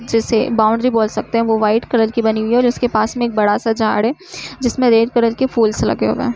जिसे बौंड़री बोल सकते हैं वो व्हाइट कलर की बनी हुई है और उसके पास मे एक बड़ा सा झाड है जिसमे रेड कलर के फूलस लगे हुए हैं।